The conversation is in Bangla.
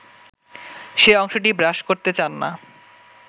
সে অংশটি ব্রাশ করতে চান না